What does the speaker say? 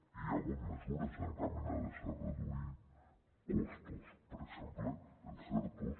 i hi ha hagut mesures encaminades a reduir costos per exemple els ertos